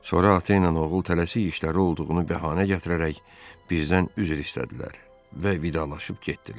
Sonra ata ilə oğul tələsik işləri olduğunu bəhanə gətirərək bizdən üzr istədilər və vidalaşıb getdilər.